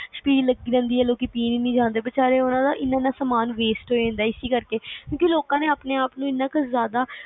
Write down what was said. ਸ਼ਬੀਲ ਲੱਗੀ ਹੁੰਦੀ ਆ ਲੋਕ ਪੀਣ ਨੀ ਜਾਂਦੇ ਵਿਚਾਰਿਆ ਦਾ ਇਨ੍ਹਾਂ ਇਨ੍ਹਾਂ ਸਮਾਨ waste ਹੋ ਜਾਂਦਾ ਇਸ ਕਰਕੇ ਕਿਉਂਕਿ ਲੋਕਾਂ ਨੇ ਆਪਣੇ ਆਪ ਨੂੰ ਐਨਾ ਕੇ ਜ਼ਿਆਦਾ